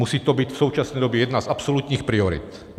Musí to být v současné době jedna z absolutních priorit.